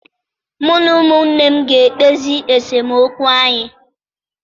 Mụ na ụmụnne m ga-ekpezi esemokwu anyị